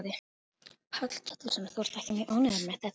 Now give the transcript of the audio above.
Páll Ketilsson: Þú ert ekki mjög ánægð með þetta?